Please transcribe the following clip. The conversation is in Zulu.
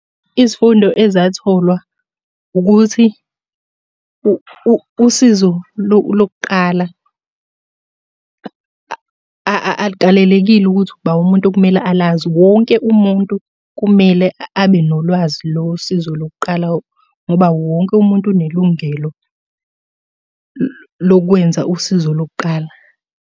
Izifundo ezatholwa, ukuthi usizo lokuqala alukalelekile ukuthi uba umuntu okumele alazi wonke umuntu kumele abe nolwazi losizo lokuqala, ngoba wonke umuntu unelungelo lokwenza usizo lokuqala.